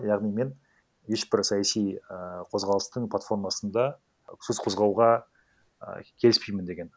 яғни мен ешбір саяси ііі қозғалыстың платформасында сөз қозауға і келіспеймін деген